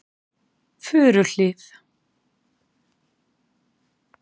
Furuhlíð